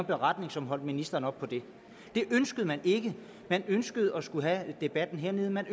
beretning som holdt ministeren op på det det ønskede man ikke man ønskede at skulle have debatten hernede man